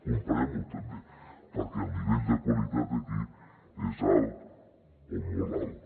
comparem ho també perquè el nivell de qualitat d’aquí és alt o molt alt